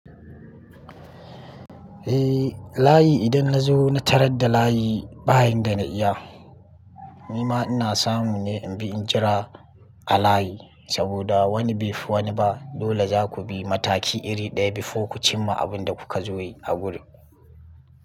Eh, layi idan na zo na tarar da layi bayin da na iya. Ni ma ina samu ne in bi injira a layi, saboda wani bai fi waniba dole za ku bi mataki iri ɗaya before ku cimma abinda kuka zo yi a wuri.